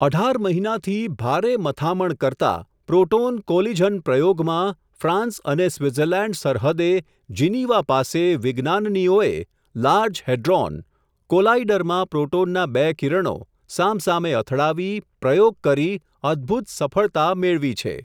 અઢાર મહિનાથી, ભારે મથામણ કરતા, પ્રોટોન કોલિઝન પ્રયોગમાં, ફ્રાન્સ અને સ્વીત્ઝર્લેન્ડ સરહદે, જીનિવા પાસે વિજ્ઞાનનીઓએ, લાર્જ હેડ્રોન, કોલાઈડરમાં પ્રોટોનના બે કિરણો, સામસામે અથડાવી, પ્રયોગ કરી, અદભૂત સફળતા, મેળવી છે.